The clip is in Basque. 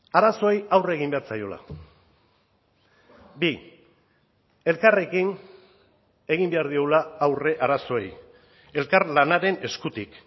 arazoei aurre egin behar zaiola bi elkarrekin egin behar diogula aurre arazoei elkarlanaren eskutik